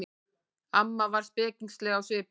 Amma var spekingsleg á svipinn.